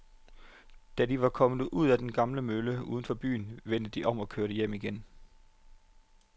Da de var kommet ud til den gamle mølle uden for byen, vendte de om og kørte hjem igen.